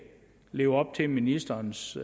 lever op til ministerens